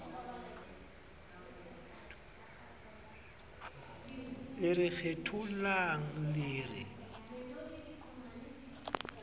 le re kgethollang le re